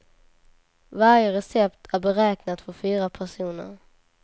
Varje recept är beräknat för fyra personer.